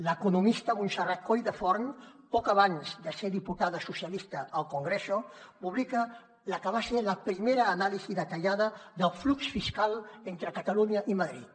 l’economista montserrat colldeforns poc abans de ser diputada socialista al congreso publica la que va ser la primera anàlisi detallada del flux fiscal entre catalunya i madrid